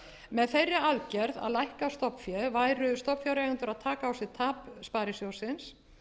með þeirri aðgerð að lækka stofnfé væru stofnfjáreigendur að taka á sig tap sparisjóðsins